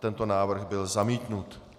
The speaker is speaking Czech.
Tento návrh byl zamítnut.